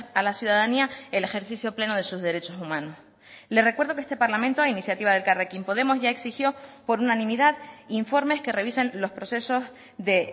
a la ciudadanía el ejercicio pleno de sus derechos humanos le recuerdo que este parlamento a iniciativa de elkarrekin podemos ya exigió por unanimidad informes que revisen los procesos de